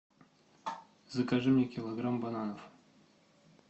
закажи мне килограмм бананов